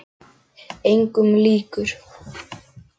Engum líkur.